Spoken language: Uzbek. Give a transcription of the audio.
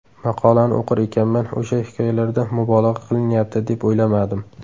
Maqolani o‘qir ekanman, o‘sha hikoyalarda mubolag‘a qilinyapti deb o‘ylamadim.